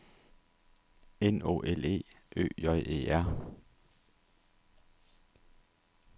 N Å L E Ø J E R